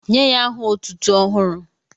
Nye ya aha otụ́tụ́ ọhụrụ